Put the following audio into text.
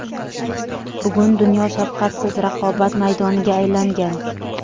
bugun dunyo shafqatsiz raqobat maydoniga aylangan.